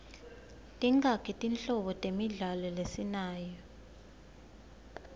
tingaki tinhlobo temidlalo lesinayo